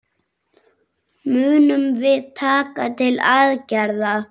Munum við taka til aðgerða?